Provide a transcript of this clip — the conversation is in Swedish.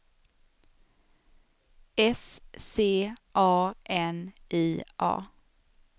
S C A N I A